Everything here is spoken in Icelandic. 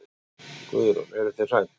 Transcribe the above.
Guðrún: Eruð þið hrædd?